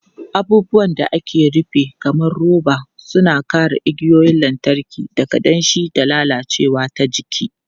Abubuwan da aka rufe kamar roba suna kare igiyoyin lantarki daga danshi da lalacewa ta jiki.